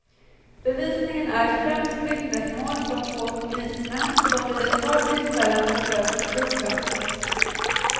Bevisningen är främst vittnesmål från två polismän som vid ett par tillfällen besökte klubben.